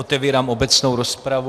Otevírám obecnou rozpravu.